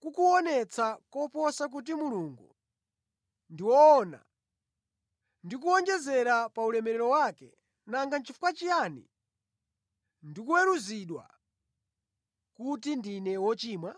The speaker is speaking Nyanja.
kukuonetsa koposa kuti Mulungu ndi woona, ndi kuwonjezera pa ulemerero wake, nanga nʼchifukwa chiyani ndikuweruzidwa kuti ndine wochimwa?”